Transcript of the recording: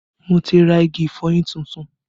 Mo ti ra igi ìfọyín tuntun